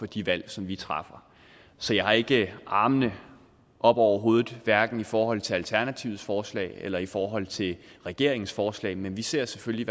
de valg som vi træffer så jeg har ikke armene oppe over hovedet hverken i forhold til alternativets forslag eller i forhold til regeringens forslag men vi tager selvfølgelig